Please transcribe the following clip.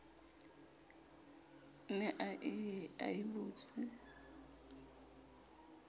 ne a ye a bitswe